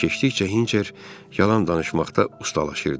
Vaxt keçdikcə Hinçer yalan danışmaqda ustalaşırdı.